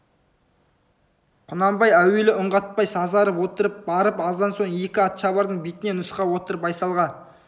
құнанбай әуелі үн қатпай сазарып отырып барып аздан соң екі атшабардың бетіне нұсқап отырып байсалға